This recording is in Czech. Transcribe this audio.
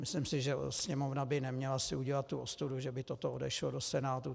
Myslím si, že Sněmovna by neměla si udělat tu ostudu, že by toto odešlo do Senátu.